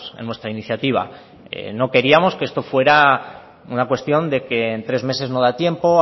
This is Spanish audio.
en nuestra iniciativa no queríamos que esto fuera una cuestión de que en tres meses no da tiempo